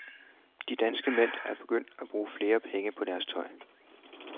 De danske mænd er begyndt at bruge flere penge på deres tøj.